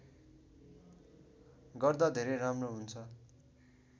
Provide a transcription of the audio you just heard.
गर्दा धेरै राम्रो हुन्छ